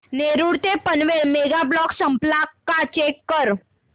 नेरूळ ते Panvel mega block संपला का चेक कर